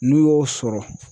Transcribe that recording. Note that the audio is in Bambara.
N'u y'o sɔrɔ